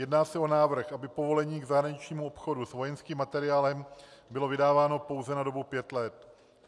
Jedná se o návrh, aby povolení k zahraničnímu obchodu s vojenským materiálem bylo vydáváno pouze na dobu pěti let.